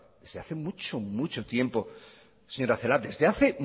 desde hace mucho mucho tiempo señora celaá desde hace